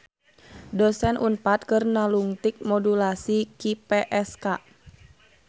Dosen Unpad keur nalungtik modulasi QPSK